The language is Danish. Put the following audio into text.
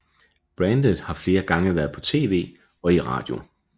Bandet har flere gange været på TV og i radio